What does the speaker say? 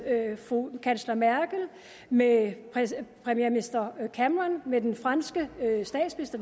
kansler merkel med premierminister cameron med den tidligere franske statsminister